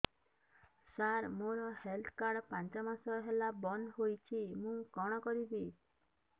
ସାର ମୋର health card ପାଞ୍ଚ ମାସ ହେଲା ବଂଦ ହୋଇଛି ମୁଁ କଣ କରିବି